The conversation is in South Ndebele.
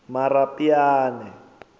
marapyane